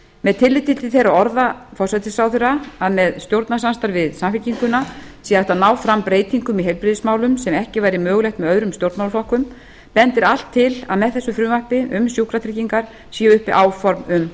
með tilliti til þeirra orða forsætisráðherra að með stjórnarsamstarfi við samfylkinguna sé hægt að ná fram breytingum í heilbrigðismálum sem ekki væri mögulegt með öðrum stjórnmálaflokkum bendir allt til að með þessu frumvarpi um sjúkratryggingar séu uppi áform um